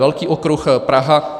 Velký okruh Praha.